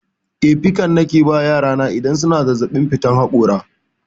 Eh, pikan nake ba yara na idan suna zazzaɓin fitar haƙora.